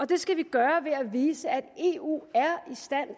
det skal vi gøre ved at vise at eu er i stand